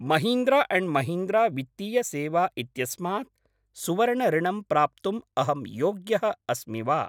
Mahindra and Mahindra वित्तीय सेवा इत्यस्मात् सुवर्णऋणम् प्राप्तुम् अहं योग्यः अस्मि वा?